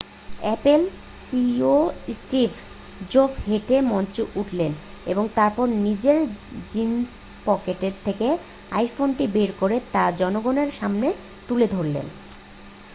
Apple CEO Steve জোভস হেঁটে মঞ্চে উঠলেন এবং তারপর নিজের জিন্সের পকেট থেকে আইফোনটি বের করে তা জনগণের সামনে তুলে ধরলেন